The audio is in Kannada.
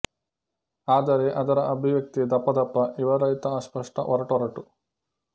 ಆದರೆ ಅದರ ಅಭಿವ್ಯಕ್ತಿ ದಪ್ಪದಪ್ಪ ವಿವರ ರಹಿತ ಅಸ್ಪಷ್ಟ ಒರಟೊರಟು